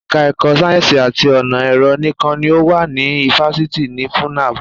Ẹka ẹ̀kọ́ sáyẹ́nsì àti ọ̀nà ẹ̀rọ nìkan ni ó wà ní ifáfitì ti FUNAB.